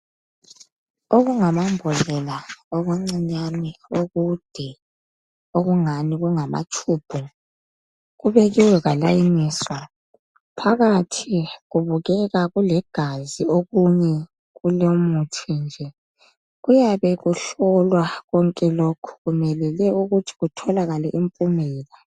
Okungamambodlela okuncinyane okude okungani kungamatshubhu kubekiwe kwafoliswa phakathi kubukeka kulegazi okunye kulomuthi nje kuyabe kuhlolwa konke lokhu kumelele ukuthi kutholakale impumela.